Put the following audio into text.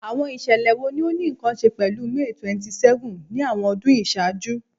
Awọn iṣẹlẹ wo ni o ni nkan ṣe pẹlu May 27th ni awọn ọdun iṣaaju?